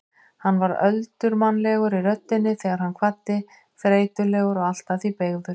Hann var öldurmannlegur í röddinni þegar hann kvaddi, þreytulegur og allt að því beygður.